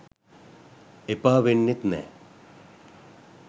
එපා වෙන්නෙත් නෑ